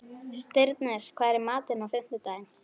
Stirnir, hvað er í matinn á fimmtudaginn?